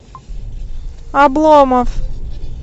обломов